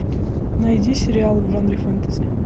найди сериал в жанре фэнтези